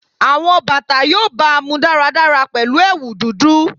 Awọn bata yoo baamu daradara pẹlu ẹwu dudu